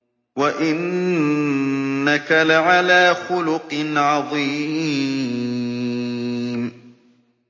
وَإِنَّكَ لَعَلَىٰ خُلُقٍ عَظِيمٍ